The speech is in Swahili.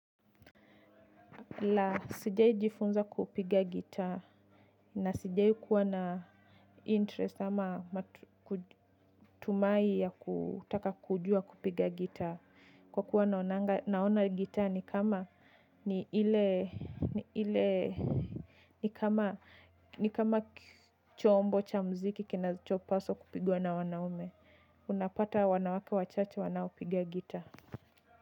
La sijahi jifunza kupiga gitaa na sijai kuwa na interest ama matumai ya kutaka kujua kupiga gitaa kwa kuwa naona gitaa ni kama ni ile ni ile ni kama ni kama chombo cha muziki kinachopaswa kupigwa na wanaume. Unapata wanawake wachache wanaopiga gitaa.